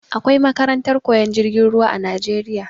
Akwai makarantar koyan jirgin ruwa a najeriya